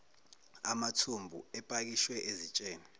amathumbu epakishwe ezitsheni